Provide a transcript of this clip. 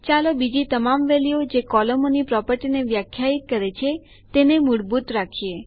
ચાલો બીજી તમામ વેલ્યુઓ જે કોલમોની પ્રોપર્ટીને વ્યાખ્યાયિત કરે છે તેને મૂળભૂત રાખીએ